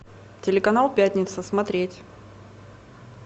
телеканал пятница смотреть